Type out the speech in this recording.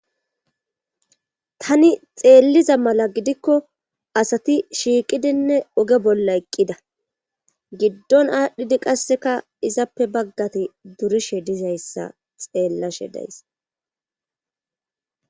tani xeelliza mala gidikko asati shiiqidinne oge bolla eqqida giddon aadhdhidi qasseka izappe baggati durishe dizayssa xeellashe days